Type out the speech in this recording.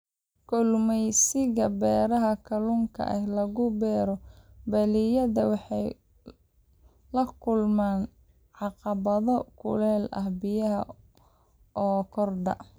Kalluumaysiga beeraha kalluunka ee lagu beero balliyada wuxuu la kulmaa caqabado kuleylka biyaha oo kordha.